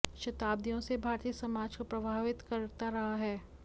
शताब्दियों से यह भारतीय समाज को प्रभावित करता रहा है